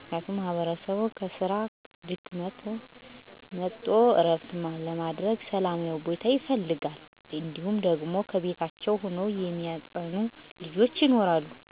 ምክንያቱም ማህበረሰቡ ከስራ ደክሞት መጥቶ ዕረፍት ለማድረግ ሠላማዊ ቦታ ይፈልጋል። እንዲሁም ደግሞ ከቤታቸው ሆነው የሚያጠኑ ልጆች ይኖራሉ ግን አካባቢው ጫጫታ ከበዛበት ሀሳባቸውን መሰብሰብ አይችሉም. በተለይ የ አልጋ ቁራኛ የሆኑ ሰወች በጣም ነው ሰላም የሚያጡ የትም መሄጃ ስለሌላቸው። ሌላው ደግሞ የውሀ ብክለት በጣም አሳሳቢ ነው። ንፁህ ውሀ አቅርቦት ግድ ነው። በጤና ላይ ከፍተኛ ተፅዕኖ ያሳድራል .ሰው ንፁህ ውሀ የማይጠጣ ከሆነ በተለያዬ ውሀ ወለድ በሽታ ለምሳሌ፦ ሀተት፣ የሆድ ጥገኛ ትላትል ሌላም ሌላም በሽታ ተጠቂ ይሆናሉ። ሆኖም በእነዚህ ጉዳዮች ላይ ማህበረሰቡ ሳይታክት ለሚመለከተው አካል ቅሬታ አያቀረበ ደህንነቱኑ ለማስጠበቅ ይጥራል።